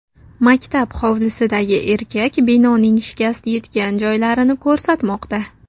Maktab hovlisidagi erkak binoning shikast yetgan joylarini ko‘rsatmoqda.